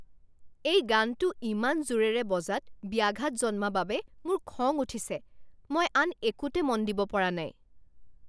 এই গানটো ইমান জোৰেৰে বজাত ব্যাঘাত জন্মা বাবে মোৰ খং উঠিছে। মই আন একোতে মন দিব পৰা নাই।